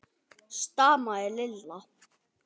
stamaði Lilla.